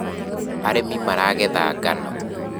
arĩmi maragetha ngano